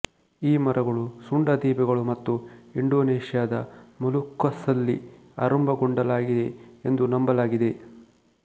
ಈ ಮರಗಳು ಸುಂಡ ದ್ವೀಪಗಳು ಮತ್ತು ಇಂಡೋನೇಷ್ಯಾದ ಮೊಲುಕ್ಕಸ್ನಲ್ಲಿ ಆರಂಭಗೊಂಡಲಾಗಿದೆ ಎಂದು ನಂಬಲಾಗಿದೆ